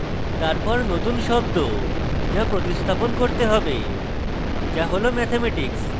তারপর নতুন শব্দ যা প্রতিস্থাপণ করা হবে যা হল mathematics